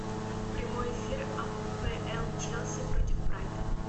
прямой эфир апл челси против брайтона